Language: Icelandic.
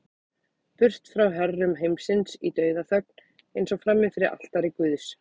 Burt frá herrum heimsins í dauðaþögn, eins og frammi fyrir altari guðs.